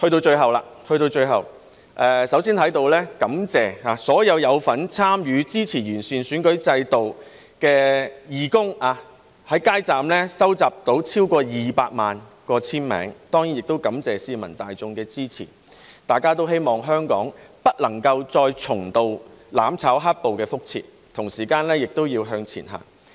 最後，首先在此感謝所有有份參與支持完善選舉制度的義工，在街站收集了超過200萬個簽名，當然亦感謝市民大眾的支持，大家也希望香港不會再重蹈"攬炒"和"黑暴"的覆轍，同時也要向前行。